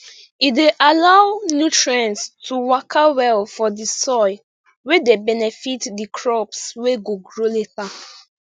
e dey allow nutrients to waka well for di soil wey dey benefit di crops wey go grow later